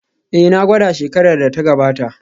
Ee, na gwada shekarar da ta gabata